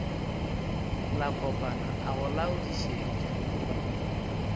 la kopana a go laodišetša